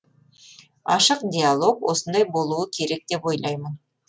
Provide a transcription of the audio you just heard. ашық диалог осындай болуы керек деп ойлаймын